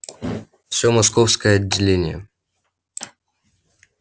все московское отделение